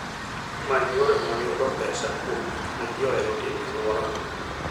Many yore mag yudo pesa kuom gik ma ji ohero timo e alworano.